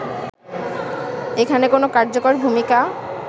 এখানে কোন কার্যকর ভূমিকা